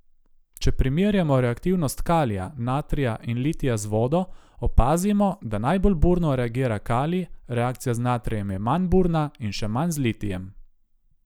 Če primerjamo reaktivnost kalija, natrija in litija z vodo, opazimo, da najbolj burno reagira kalij, reakcija z natrijem je manj burna in še manj z litijem.